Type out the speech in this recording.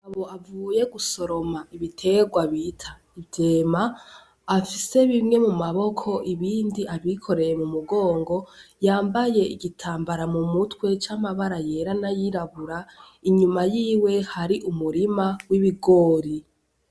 Uwo avuye gusoroma ibiterwa bita ivyema, afise bimwe mu maboko ibindi avyikoreye mu mugongo. Yambaye igitambara mu mutwe c'amabara yera n'ayirabura, inyuma yiwe hari umurima w'ibigori.